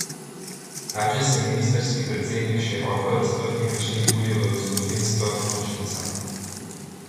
Tačas je ministrski predsednik s široko razprtimi očmi buljil v gospodinjsko pomočnico.